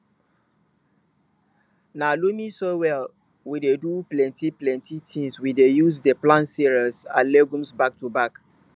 na loamy soil wey dey do pleni plenti tins we dey use dey plant cereals and legumes back to back